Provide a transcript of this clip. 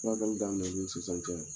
Furakɛli daminɛnɛn ni sisan cɛ